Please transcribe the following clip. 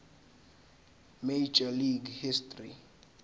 major league history